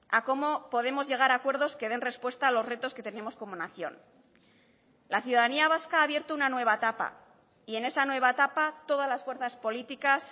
a cómo podemos llegar a acuerdos que den respuesta a los retos que tenemos como nación la ciudadanía vasca ha abierto una nueva etapa y en esa nueva etapa todas las fuerzas políticas